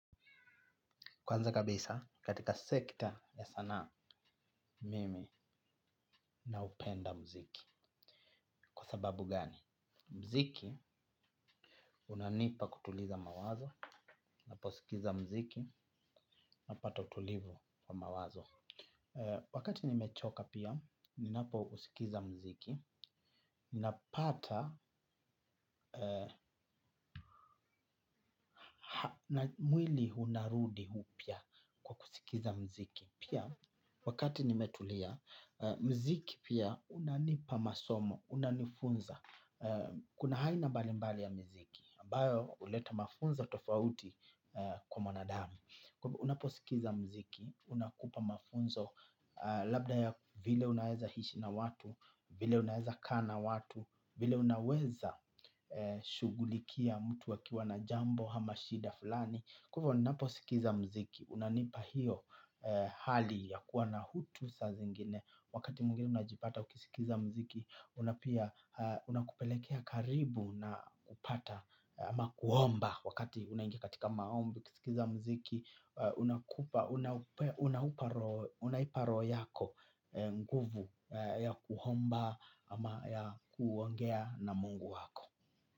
Kwanza kabisa, katika sekta ya sanaa Mimi, naupenda mziki. Kwa sababu gani? Mziki, unanipa kutuliza mawazo. Naposikiza mziki, napata utulivu wa mawazo. Wakati nimechoka pia, ninapousikiza mziki. Ninapata, mwili unarudi upya kwa kusikiza mziki. Pia, wakati nimetulia, mziki pia unanipa masomo. Unanifunza. Kuna haina mbalimbali ya miziki ambayo huleta mafunzo tofauti kwa mwanadamu. Unaposikiza mziki, unakupa mafunzo labda ya vile unaweza hishi na watu. Vile unaweza kaa na watu, vile unaweza shughulikia mtu akiwa na jambo ama shida fulani. Kwa hivyo naposikiza mziki unanipa hiyo hali ya kuwa na utu saa zingine. Wakati mwingine unajipata ukisikiza mziki unakupelekea karibu na kupata ama kuomba wakati unaingia katika maombi, ukisikiza mziki unakupa unaipa roho yako nguvu ya kuhomba ama ya kuongea na mungu wako.